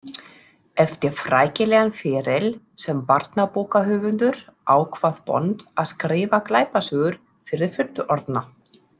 Eftir frækilegan feril sem barnabókahöfundur ákvað Bond að skrifa glæpasögur fyrir fullorðna.